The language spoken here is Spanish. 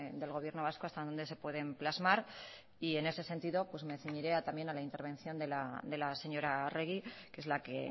del gobierno vasco hasta dónde se pueden plasmar en ese sentido me ceñiré también a la intervención de la señora arregi que es la que